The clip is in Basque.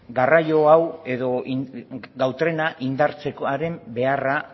garraio hau edo gau trena indartzekoaren beharra